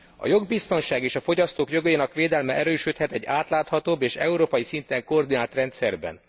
A jogbiztonság és a fogyasztók jogainak védelme erősödhet egy átláthatóbb és európai szinten koordinált rendszerben.